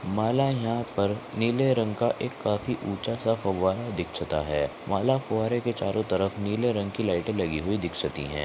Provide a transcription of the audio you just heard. मला यहाँ पर नीले रंग का एक काफी ऊँचासा फव्वारा दिक्सती आहे माला फ़व्वारेच्या चारो तरफ नील रंग की लाइट लगी हुई दिक्सती आहे.